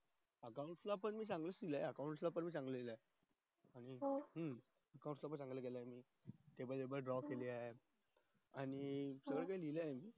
चा त चांगला च लिहिलंय याचा पण चांगला लिहिलंय table वैगेरे draw केलेत आणि वेगळे वेगळं लिहिलंय